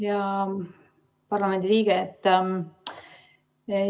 Hea parlamendiliige!